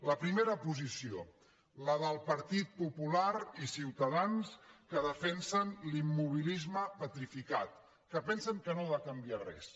la primera posició la del partit popular i ciutadans que defensen l’immobilisme petrificat que pensen que no ha de canviar res